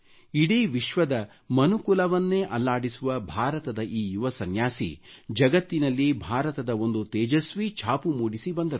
ಇಡೀ ವಿಶ್ವದ ಮನುಕುಲವನ್ನೆ ಅಲ್ಲಾಡಿಸುವ ಭಾರತದ ಈ ಯುವ ಸನ್ಯಾಸಿ ಜಗತ್ತಿನಲ್ಲಿ ಭಾರತದ ಒಂದು ತೇಜಸ್ವಿ ಛಾಪು ಮೂಡಿಸಿ ಬಂದರು